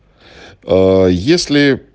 аа если